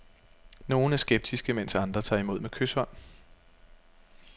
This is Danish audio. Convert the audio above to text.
Nogle er skeptiske, mens andre tager imod med kyshånd.